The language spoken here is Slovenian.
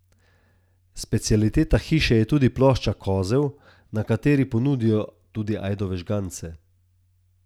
Specialiteta hiše je tudi plošča Kozel, na kateri ponudijo tudi ajdove žgance.